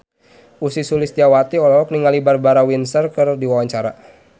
Ussy Sulistyawati olohok ningali Barbara Windsor keur diwawancara